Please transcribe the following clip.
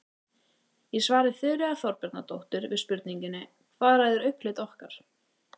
Í svari Þuríðar Þorbjarnardóttur við spurningunni Hvað ræður augnalit okkar?